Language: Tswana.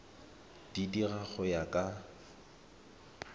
di dira go ya ka